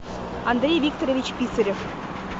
андрей викторович писарев